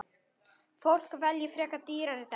Fólk velji frekar dýrari dekkin.